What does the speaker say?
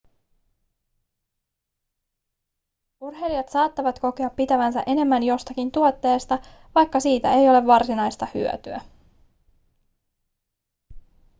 urheilijat saattavat kokea pitävänsä enemmän jostakin tuotteesta vaikka siitä ei ole varsinaista hyötyä